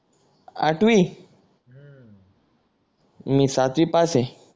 आठवी मी सातवी पास हाय